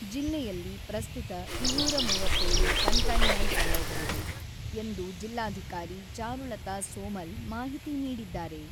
ಜಿಲ್ಲೆಯಲ್ಲಿ ಪ್ರಸ್ತುತ ಇನ್ನೂರ ಮೂವತ್ತೇಳು ಕಂಟೈನೆಂಟ್ ವಲಯಗಳಿವೆ ಎಂದು ಜಿಲ್ಲಾಧಿಕಾರಿ ಚಾರುಲತಾ ಸೋಮಲ್ ಮಾಹಿತಿ ನೀಡಿದ್ದಾರೆ.